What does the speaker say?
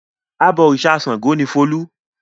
Abọ̀rìṣà Ṣàngó ni Folú.